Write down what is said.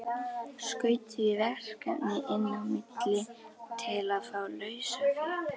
Skaut því verkefni inn á milli til að fá lausafé.